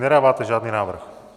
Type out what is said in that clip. Nedáváte žádný návrh?